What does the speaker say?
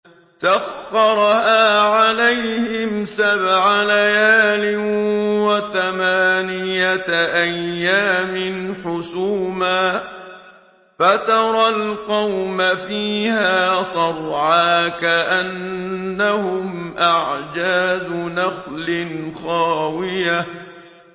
سَخَّرَهَا عَلَيْهِمْ سَبْعَ لَيَالٍ وَثَمَانِيَةَ أَيَّامٍ حُسُومًا فَتَرَى الْقَوْمَ فِيهَا صَرْعَىٰ كَأَنَّهُمْ أَعْجَازُ نَخْلٍ خَاوِيَةٍ